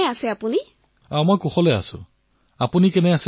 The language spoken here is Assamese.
অপৰ্ণাঃ নমস্কাৰ আদৰণীয় প্ৰধানমন্ত্ৰী মহোদয় আপোনাৰ ভালনে